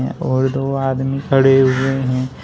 और दो आदमी खड़े हुए हैं।